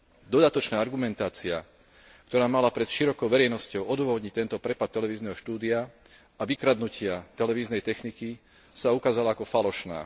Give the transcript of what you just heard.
Dodatočná argumentácia, ktorá mala pred širokou verejnosťou odôvodniť tento prepad televízneho štúdia a vykradnutia televíznej techniky, sa ukázala ako falošná.